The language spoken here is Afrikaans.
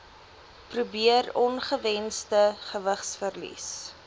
probeer ongewensde gewigsverlies